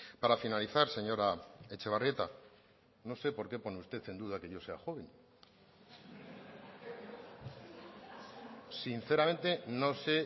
para finalizar señora etxebarrieta no sé por qué pone usted en duda que yo sea joven sinceramente no sé